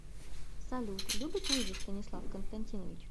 салют любит лыжи станислав константинович